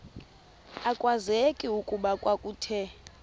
akwazeki okokuba kwakuthe